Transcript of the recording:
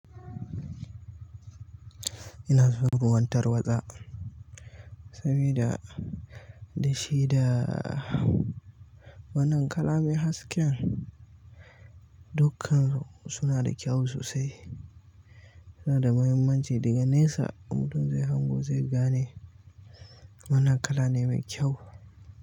Ina son ruwan tarwatsa sabida da shi da wannan kala mai haske dukansu na da kyau sosai. Su na da muhimmanci daga nesa mutum zai hango zai gane wane kala ne mai kyau.